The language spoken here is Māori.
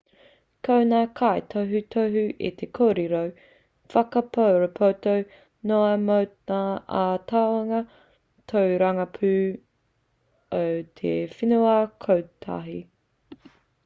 ko ngā kaitohutohu he kōrero whakarāpopoto noa mō ngā āhuatanga tōrangapū o te whenua kotahi